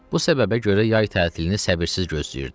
Bu səbəbə görə yay tətilini səbirsiz gözləyirdi.